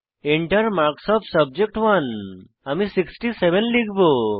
Enter marks of subject আমি 67 লিখব